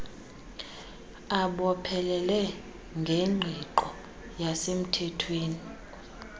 abophelele ngengqiqo yesemthethweni